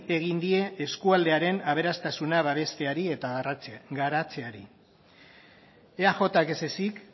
egin die eskualdearen aberastasuna babesteari eta garatzeari eajk ez ezik